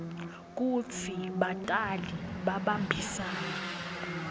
kutsi batali babambisane